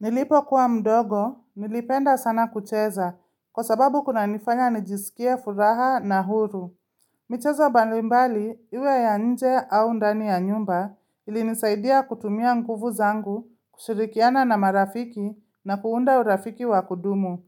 Nilipo kuwa mdogo, nilipenda sana kucheza, kwa sababu kuna nifanya nijisikie furaha na huru. Michezo balimbali, iwe ya nje au ndani ya nyumba, ili nisaidia kutumia nguvu zangu, kushirikiana na marafiki na kuunda urafiki wa kudumu.